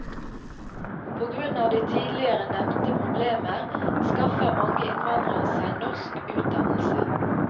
På grunn av de tidligere nevnte problemer skaffer mange innvandrere seg norsk utdannelse.